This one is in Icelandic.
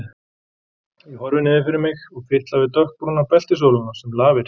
Ég horfi niður fyrir mig og fitla við dökkbrúna beltisólina sem lafir.